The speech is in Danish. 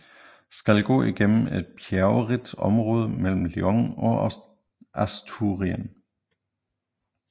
Skal gå igennem et bjergrigt område mellem León and Asturien